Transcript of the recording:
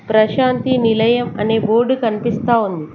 ప్రశాంతి నిలయం అనే బోర్డు కనిపిస్తా ఉంది.